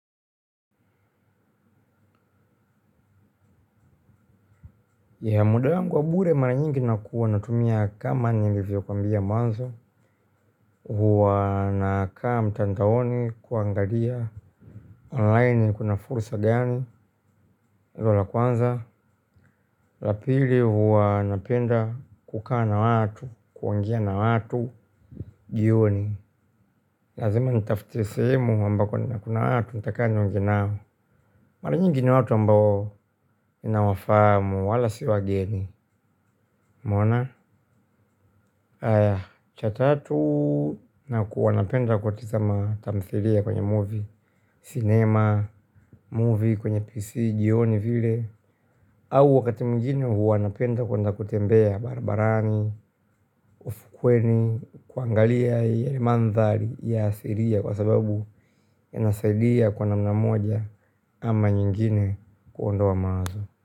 Muda wangu wa abure mara nyingi nakuwa natumia kama nilivyo kwambia mwanzo. Huwa nakaa mtandaoni kuangalia online kuna fursa gani. Hilo la kwanza, la pili huwa napenda kukaa na watu, kuongea na watu jioni. Lazima nitafute sehemu ambako nina kuna watu, nitakaa niongee nao. Mara nyingi ni watu ambao ninawafamu, wala si wageni umeona? Haya cha tatu nakuwa napenda kutazama tamthilia kwenye movie, cinema, movie kwenye PC, jioni vile. Au wakati mwingine huwa napenda kwenda kutembea barabarani, ufukweni, kuangalia yale mandhari ya asilia kwa sababu inasaidia kwa namna moja ama nyingine kuondoa mawazo.